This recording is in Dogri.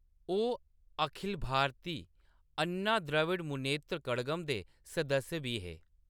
ओह्‌‌ अखिल भारती अन्ना द्रविड़ मुनेत्र कड़गम दे सदस्य बी हे।